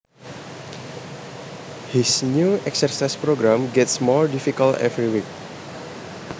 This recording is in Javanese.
His new exercise program gets more difficult every week